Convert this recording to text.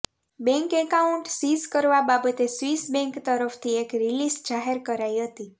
bank account seize કરવા બાબતે Swiss bank તરફથી એક રિલીઝ જાહેર કરાઈ હતી